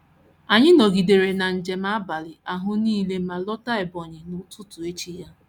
Anyị nọgidere na njem abalị ahụ nile ma lọta Ebonyi n’ụtụtụ echi ya.